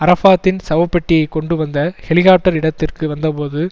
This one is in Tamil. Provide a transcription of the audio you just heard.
அரஃபாத்தின் சவப்பெட்டியைக் கொண்டு வந்த ஹெலிகாப்டர் இடத்திற்கு வந்தபோது